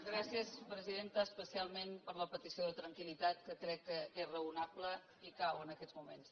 gràcies presidenta especialment per la petició de tranquil·litat que crec que és raonable i cal en aquests moments